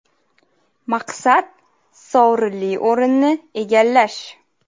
Maqsad – sovrinli o‘rinni egallash.